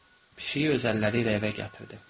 Pişiyi öz əlləri ilə evə gətirdi.